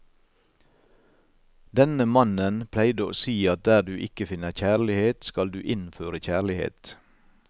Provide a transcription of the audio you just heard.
Denne mannen pleide å si at der du ikke finner kjærlighet, skal du innføre kjærlighet.